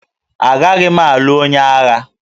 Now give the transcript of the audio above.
Agaghị m alụ onye agha